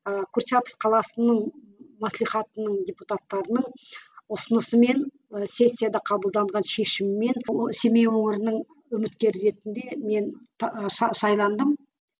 ыыы курчатов қаласының маслихатының депутатарының ұсынысымен сессияда қабылданған шешімімен семей өңірінің үміткері ретінде мен сайландым